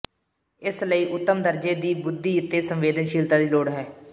ਇਸ ਲਈ ਉੱਤਮ ਦਰਜੇ ਦੀ ਬੁੱਧੀ ਤੇ ਸੰਵੇਦਨਸ਼ੀਲਤਾ ਦੀ ਲੋੜ ਹੈ